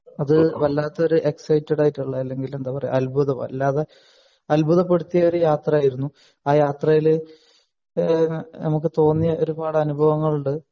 അത് വല്ലാത്തൊരു എക്‌സൈറ്റഡ് ആയിട്ടുള്ള അല്ലെങ്കി എന്താ പറയാ അത്ഭുതം അല്ലാതെ അത്ഭുതപ്പെടുത്തിയ ഒരു യാത്രയായിരുന്നു ആ യാത്രയിൽ ഏഹ് നമുക്ക് തോന്നിയ ഒരുപാട് അനുഭവങ്ങൾ ഉണ്ട്